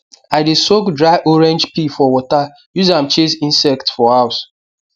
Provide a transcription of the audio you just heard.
i dey soak dry orange peel for water use am chase insect for house